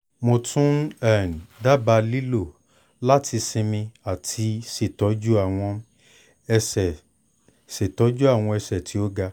mo tun um daba lilo lati sinmi ati ṣetọju awọn ẹsẹ ṣetọju awọn ẹsẹ ti o ga